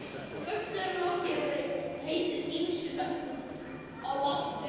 Föstudagurinn langi hefur heitið ýmsum nöfnum á latínu.